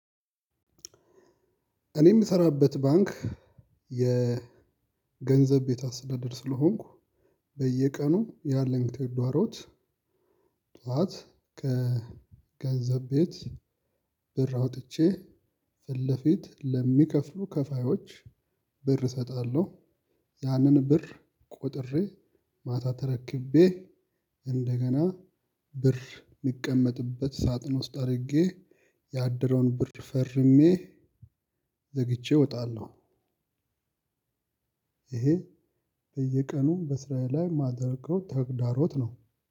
እኔ እምሰራበት ባንክ የገንዘብ ቤት አስተዳደር ስለሆንኩ በየቀኑ ያለን ተግዳሮት። ጥዋት ከገንዘብ ቤት ብር አውጥቸ ፊትለፊት ለሚከፍሉ ከፋዮች ብር እሰጣለሁ ያንን ብር ቆጥሬ ማታ ተረክቤ እንደገና ብር እሚቀመጥበት ሳጥን ውስጥ አድርጌ ያደረውን ብር ፈርሜ ዘግቼ እወጣለሁ። ይሄ በየቀኑ በስራዬ ላይ እማደርገው ተግዳሮት ነው።